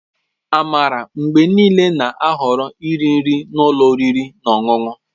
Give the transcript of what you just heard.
Amara mgbe niile na-ahọrọ iri nri na ụlọ oriri na ọṅụṅụ